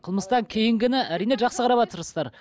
қылмыстан кейінгіні әрине жақсы қараватырсыздар